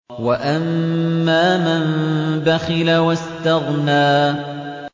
وَأَمَّا مَن بَخِلَ وَاسْتَغْنَىٰ